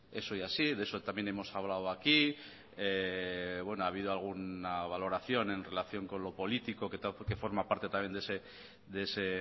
eso ha ido así de eso también hemos hablado aquí bueno ha habido alguna valoración en relación con lo político que forma parte también de ese